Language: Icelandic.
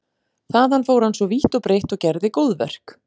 Þaðan fór hann svo vítt og breitt og gerði góðverk.